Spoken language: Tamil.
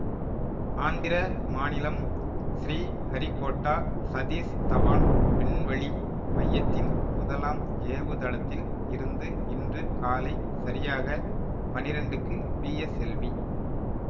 ஆந்திர மாநிலம் ஸ்ரீ ஹரிகோட்டா சதீஷ் தவான் விண்வெளி மையத்தின் முதலாம் ஏவுதளத்தில் இருந்து இன்று காலை சரியாக பனிரெண்டுக்கு பிஎஸ்எல்வி